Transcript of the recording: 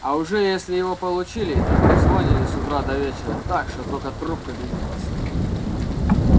а уже если его получили то трезвонили с утра до вечера так что только трубка дымилась